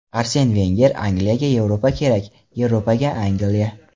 Arsen Venger: Angliyaga Yevropa kerak, Yevropaga Angliya.